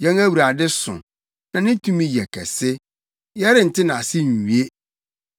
Yɛn Awurade so, na ne tumi yɛ kɛse; yɛrente nʼase nwie.